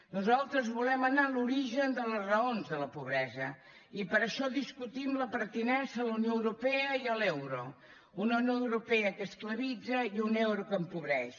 nosaltres volem anar a l’origen de les raons de la pobresa i per això discutim la pertinença a la unió europea i a l’euro una unió europea que esclavitza i un euro que empobreix